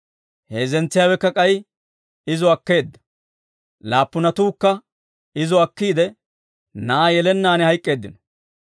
Heezzentsiyaawekka k'ay izo akkeedda; laappunatuukka izo akkiide na'aa yelennaan hayk'k'eeddino.